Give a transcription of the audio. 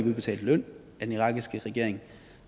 udbetalt løn af den irakiske regering og